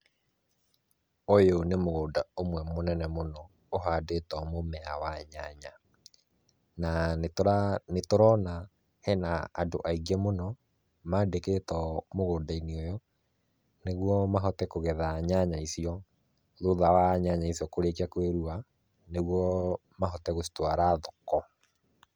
Ũyũ nĩ mũgũnda ũmwe mũnene mũno ũhandĩtwo mũmera wa nyanya na nĩtũrona hena andũ aingĩ mũno mandĩkĩtwo mũgũnda-inĩ ũyũ, nĩguo mahote kũgetha nyanya icio thutha wa nyanya icio kũrĩkia kwĩrua, nĩguo mahote gũcitwara thoko.